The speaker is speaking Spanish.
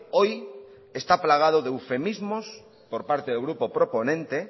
hoy está plagado de eufemismos por parte del grupo proponente